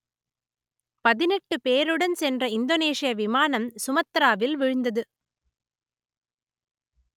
பதினெட்டு பேருடன் சென்ற இந்தோனேசிய விமானம் சுமத்திராவில் வீழ்ந்தது